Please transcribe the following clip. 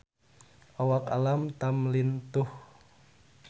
Awak Alam Tam lintuh